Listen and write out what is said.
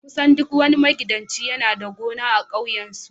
kusan duk wani magidanci yana da gona a kewayen su